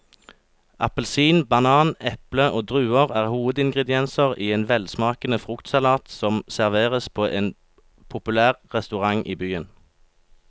Appelsin, banan, eple og druer er hovedingredienser i en velsmakende fruktsalat som serveres på en populær restaurant i byen.